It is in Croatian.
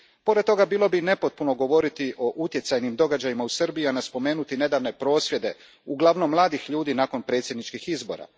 Pored toga, bilo bi nepotpuno govoriti o utjecajnim događajima u Srbiji, a ne spomenuti nedavne prosvjede uglavnom mladih ljudi nakon predsjedničkih izbora.